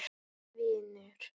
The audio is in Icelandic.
Minn vinur.